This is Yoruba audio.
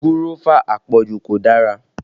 Gúrọ́fà àpọ̀jù kò dára